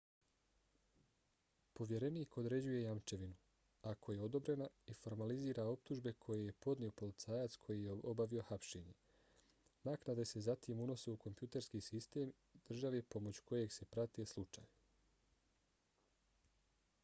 povjerenik određuje jamčevinu ako je odobrena i formalizira optužbe koje je podnio policajac koji je obavio hapšenje. naknade se zatim unose u kompjuterski sistem države pomoću kojeg se prati slučaj